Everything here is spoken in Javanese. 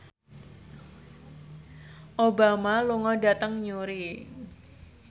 Obama lunga dhateng Newry